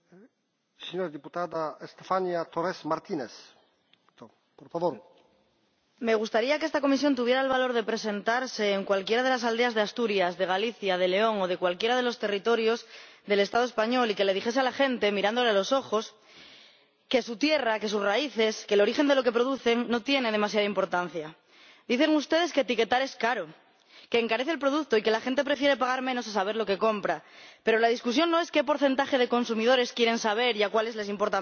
Señor Presidente, me gustaría que esta Comisión tuviera el valor de presentarse en cualquiera de las aldeas de Asturias, de Galicia, de León o de cualquiera de los territorios del Estado español y que le dijese a la gente, mirándole a los ojos, que su tierra, que sus raíces, que el origen de lo que producen no tiene demasiada importancia. Dicen ustedes que etiquetar es caro, que encarece el producto y que la gente prefiere pagar menos a saber lo que compra, pero la discusión no es qué porcentaje de consumidores quieren saber y a cuáles les importa menos.